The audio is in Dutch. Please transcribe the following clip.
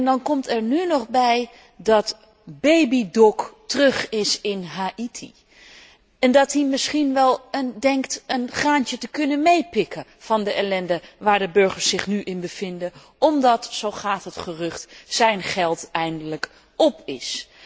Dan komt er nu nog bij dat Baby Doc terug is in Haïti en dat die misschien denkt een graantje te kunnen meepikken van de ellende waarin de burgers zich nu bevinden, omdat zo gaat het gerucht zijn geld eindelijk op is.